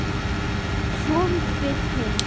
Og svo við hin.